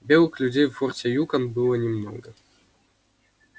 белых людей в форте юкон было немного